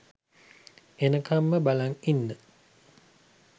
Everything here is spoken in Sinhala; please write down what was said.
එනකම්ම බලන් ඉන්න